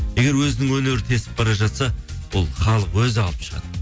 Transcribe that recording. егер өзінің өнері тесіп бара жатса ол халық өзі алып шығады